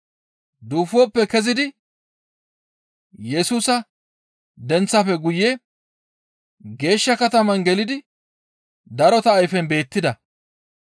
Duufoppe kezidi Yesusa denththaafe guye geeshsha katama gelidi darota ayfen beettida.